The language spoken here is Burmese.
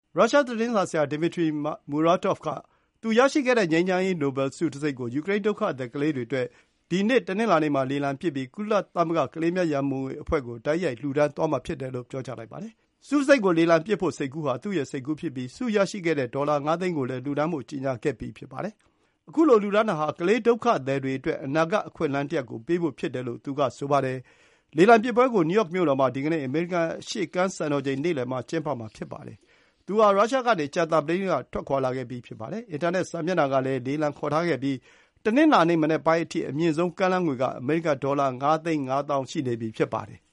ရုရှား သတင်းစာဆရာ Dmitry Muratov က သူ ရရှိခဲ့တဲ့ ငြိမ်းချမ်းရေး နိုဘယ်ဆု တံဆိပ် ကို ယူကရိန်း ဒုက္ခသည် ကလေးတွေအတွက် ဒီနေ့ တနင်္လာနေ့ မှာ လေလံပစ်ပြီး ကုလသမဂ္ဂ ကလေးများ ရံပုံငွေ အဖွဲ့ (UNICEF) ကို တိုက်ရိုက် လှူဒါန်းသွားမှာ ဖြစ်ပါတယ်။ ဆုတံဆိပ် ကို လေလံပစ် ဖို့ စိတ်ကူး ဟာ သူ့ ရဲ့ စိတ်ကူးဖြစ်ပြီး၊ ဆုရရှိခဲ့တဲ့ ဒေါ်လာ ၅ သိန်းကိုလည်း လှူဒါန်းဖို့ ကြေညာခဲ့ပြီး ဖြစ်ပါတယ်။ ခုလို လှူဒါန်းတာ ဟာ “ကလေးဒုက္ခသည်တွေ အတွက် အနာဂတ် အခွင့်အလမ်းတစ်ရပ် ကို ပေးဖို့ ဖြစ်ပါတယ်” လို့ သူ က ဆိုပါတယ်။ လေလံ ပစ်ပွဲ ကို နယူးယောက် မြို့တော်မှာ ဒီကနေ့ အမေရိကန် အရှေ့ကမ်း စံတော်ချိန် နေ့လည် မှာ ကျင်းပမှာဖြစ်ပါတယ်။ သူ ဟာ ရုရှားကနေ ကြာသပတေးနေ့ က ထွက်ခွါလာခဲ့ပြီး ဖြစ်ပါတယ်။ အင်တာနက် စာမျက်နှာ ကလည်း လေလံခေါ်ထားခဲ့ပြီး၊ တနင်္လာနေ့ မနက်ပိုင်းအထိ အမြင့်ဆုံး ကမ်းလှမ်းငွေ က အမေရိကန် ဒေါ်လာ ၅ သိန်း ၅ သောင်း ရှိနေပြီ ဖြစ်ပါတယ်။